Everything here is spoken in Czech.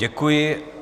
Děkuji.